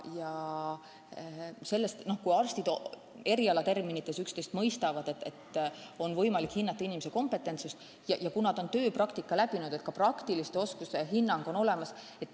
Ja kui arstid erialaterminite abil üksteist mõistavad, kui on võimalik hinnata inimese kompetentsust ja kui ta on tööpraktika läbinud, siis saab anda ka praktiliste oskuste hinnangu.